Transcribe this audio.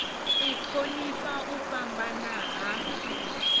u thonifha u fhambana ha